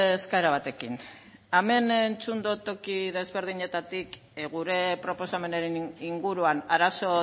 eskaera batekin hemen entzun dot toki desberdinetatik gure proposamenaren inguruan arazo